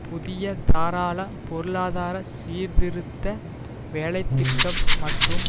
புதிய தாராள பொருளாதார சீர்திருத்த வேலை திட்டம் மற்றும்